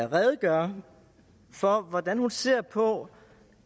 redegøre for hvordan hun ser på